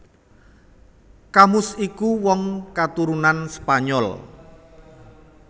Camus iku wong katurunan Spanyol